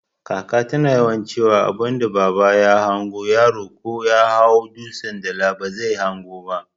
Kaka ta tana yawan ciwa abunda baba ya hango yaro ko Yahau dutsan dala bazai hango ba